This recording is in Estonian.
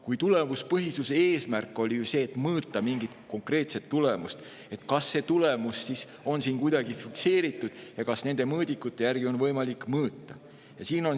Kui tulemuspõhisuse eesmärk oli mõõta mingit konkreetset tulemust, kas see tulemus siis on siin kuidagi fikseeritud ja kas nende mõõdikute järgi on võimalik midagi mõõta?